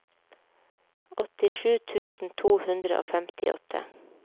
åttisju tusen to hundre og femtiåtte